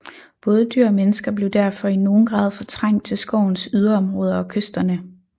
Både dyr og mennesker blev derfor i nogen grad fortrængt til skovens yderområder og kysterne